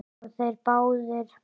Og þeir báðir.